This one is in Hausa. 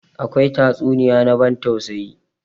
Akwai tatsuniya na ban tausayi.